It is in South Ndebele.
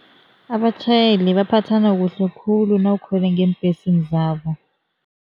Abatjhayeli baphatha kuhle khulu nawukhwele ngeembhesini zabo.